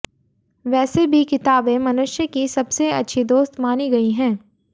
वैसे भी किताबें मनुष्य की सबसे अच्छी दोस्त मानी गई हैं